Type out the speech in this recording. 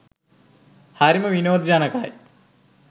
හරිම විනෝද ජනකයි.